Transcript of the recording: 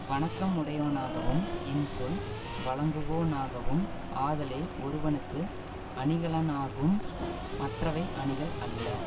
வணக்கம் உடையவனாகவும் இன்சொல் வழங்குவோனாகவும் ஆதலே ஒருவனுக்கு அணிகலனாகும் மற்றவை அணிகள் அல்ல